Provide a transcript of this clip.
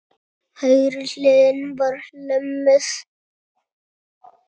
Hægri hliðin var lömuð.